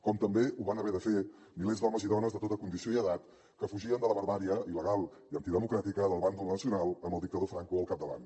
com també ho van haver de fer milers d’homes i dones de tota condició i edat que fugien de la barbàrie il·legal i antidemocràtica del bàndol nacional amb el dictador franco al capdavant